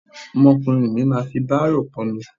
Ọmọkùnrin mi máa fi bárò pọ́nmi.